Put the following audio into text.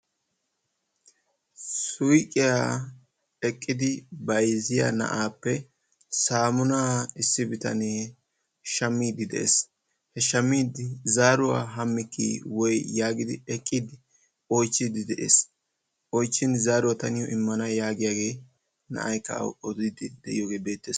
suyqiyaa eqqidi bayzziyaa na'appe saammunaa issi bitanee shammiidi de'ees. He shammiiddi zaaruwaa hammikkii woy yaagidi eqqidi oychchiiddi de'ees. Oychchin zaaruwa ta niyo immana yaagiyaagee na'aykka awu odiidi de'iyoogee beettees.